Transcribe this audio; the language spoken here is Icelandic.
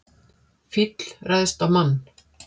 Fíll ræðst á mann